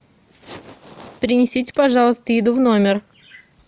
принесите пожалуйста еду в номер